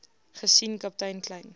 gesien kaptein kleyn